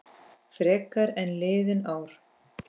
Frekar en liðin ár.